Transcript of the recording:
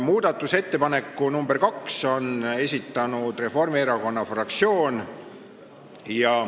Muudatusettepaneku nr 2 on esitanud Reformierakonna fraktsioon.